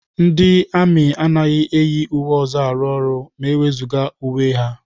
Ndị amị anaghị eyi uwe ọzọ na-arụ ọrụ ma e wezụga uwe ha.